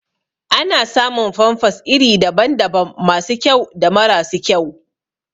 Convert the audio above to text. Ana samun famfas iri daban daban masu kyau da mara su kyau